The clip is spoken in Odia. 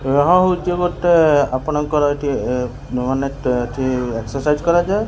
ଏହା ହଉଚି ଗୋଟେ ଆପଣଙ୍କର ଏଠି ଏ ମାନେ ଟେ ଏଠି ଏକ୍ସରସାଇଜ କରାଯାଏ।